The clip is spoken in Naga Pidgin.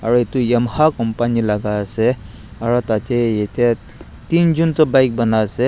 aru itu yamaha company la ase aru tatey yetey tinjun Tu bike banai ase.